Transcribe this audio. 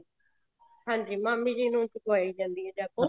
ਹਾਂਜੀ ਮਾਮੀ ਜੀ ਨੂੰ ਚੱਕਵਾਈ ਜਾਂਦੀ ਹੈ ਜਾਗੋ